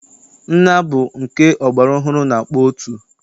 Nnaa bụ nke ọgbara ọhụrụ na-akpọ otu.